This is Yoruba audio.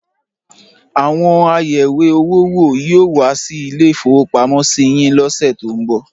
Àwọn ayẹ̀wé-owó wò yóò wá sí ilé-ìfowópamọ́sí yín lọ́sẹ̀ tó ń bọ̀.